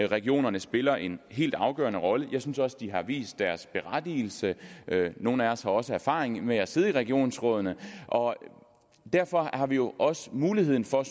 regionerne spiller en helt afgørende rolle jeg synes også at de har vist deres berettigelse nogle af os har også erfaring med at sidde i regionsrådene derfor har vi jo også muligheden for